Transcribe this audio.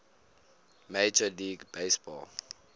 major league baseball